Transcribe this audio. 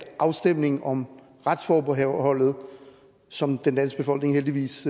afstemningen om retsforbeholdet som den danske befolkning heldigvis